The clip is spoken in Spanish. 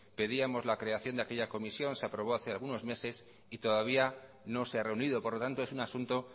pedíamos la creación de aquella comisión se aprobó hace algunos meses y todavía no se ha reunido por lo tanto es un asunto